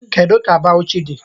Kedu ka Bawuchi dị?